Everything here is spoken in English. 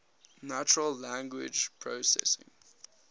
natural language processing